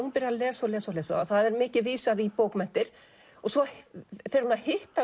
hún byrjar að lesa og lesa og lesa það er mikið vísað í bókmenntir og svo fer hún að hitta